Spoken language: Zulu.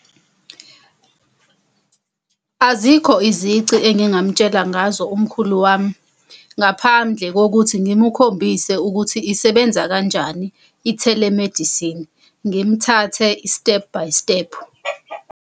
Azikho izici engingamutshela ngazo umkhulu wami, ngaphandle kokuthi ngimukhombise ukuthi isebenza kanjani i-telemedicine. Ngimthathe i-step-by-step.